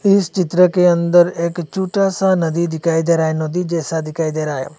इस चित्र के अंदर एक छोटा सा नदी दिखाई दे रहा है नदी जैसा दिखाई दे रहा है।